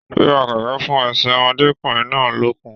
Wíwá kẹkẹ fún ẹsẹ ọmọdékunrin náà lókun.